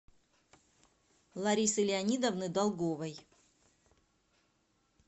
ларисы леонидовны долговой